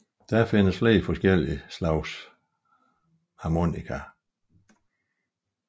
Der findes flere forskellige typer af harmonikaer